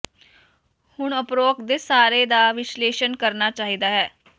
ਹੁਣ ਉਪਰੋਕਤ ਦੇ ਸਾਰੇ ਦਾ ਵਿਸ਼ਲੇਸ਼ਣ ਕਰਨਾ ਚਾਹੀਦਾ ਹੈ